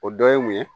O dɔ ye mun ye